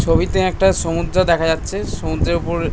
ছবিতে একটা সমুদ্র দেখা যাচ্ছেএ সমুদ্রের উপর--